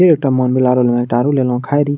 फेर एकटा मन भेल आरो लेलो एकटा आरो लेलो खाय रही --